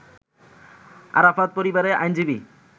আরাফাত পরিবারের আইনজীবী